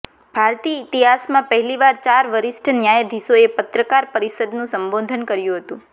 ભારતીય ઇતિહાસમાં પહેલીવાર ચાર વરિષ્ઠ ન્યાયાધીશોએ પત્રકાર પરિષદનું સંબોદન કર્યું હતું